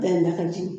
Da ka jigin